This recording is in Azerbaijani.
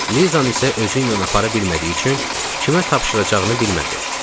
Lizanı isə özü ilə apara bilmədiyi üçün kimə tapşıracağını bilmədi.